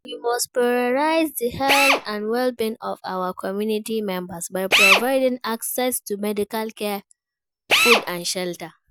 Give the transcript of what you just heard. We must prioritize di health and well-being of our community members by providing access to medical care, food and shelter.